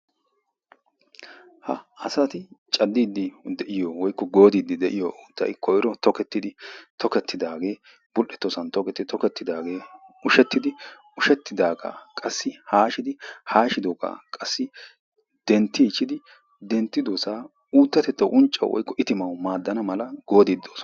ha asati cadiidi de'iyo koyro tokketidaagee de'iyo koyro ha asati cadiidi de'iyo koyro tokketidaagee de'iyo koyro unccawu woykko ittima maanawu qassi goodiidi de'oosona.